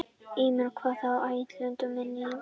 Ilmur, hvað er á áætluninni minni í dag?